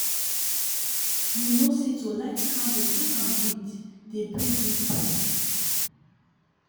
you know say to light candle take am read dey bring me peace